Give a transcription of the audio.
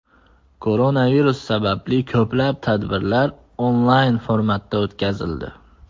Koronavirus sababli ko‘plab tadbirlar onlayn formatda o‘tkazildi.